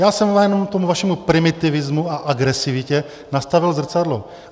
Já jsem jenom tomu vašemu primitivismu a agresivitě nastavil zrcadlo.